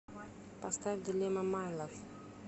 поставь дилемма майлав